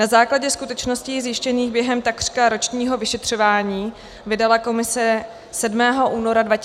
Na základě skutečností zjištěných během takřka ročního vyšetřování vydala komise 7. února 2014 zprávu.